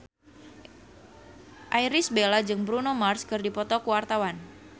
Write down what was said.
Irish Bella jeung Bruno Mars keur dipoto ku wartawan